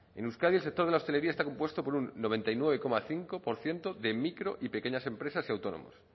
en euskadi el sector de la hostelería está compuesto por un noventa y nueve coma cinco por ciento de micro y pequeñas empresas y autónomos